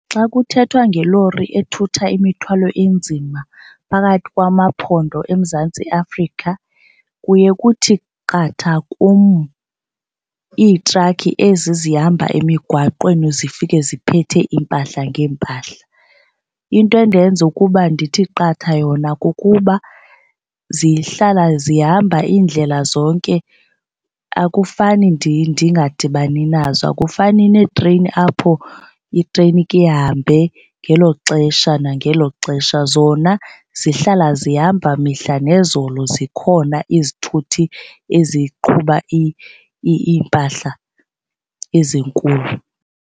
Xa kuthethwa ngelori ethutha imithwalo enzima phakathi kwamaphondo eMzantsi Afrika kuye kuthi qatha kum iitrakhi ezi zihamba emigwaqweni zifike ziphethe iimpahla ngeempahla. Into endenza ukuba ndithi qatha yona kukuba zihlala zihamba iindlela zonke akufani ndingadibani nazo. Akufani neetreyini apho itreyini ike ihambe ngelo xesha nangelo xesha. Zona zihlala zihamba mihla nezolo zikhona izithuthi eziqhuba iimpahla ezinkulu.